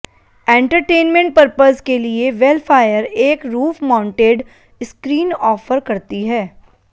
entertainment purpose के लिए Vellfire एक रूफ माउंटेड स्क्रीन ऑफर करती है